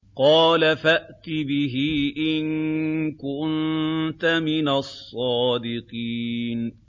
قَالَ فَأْتِ بِهِ إِن كُنتَ مِنَ الصَّادِقِينَ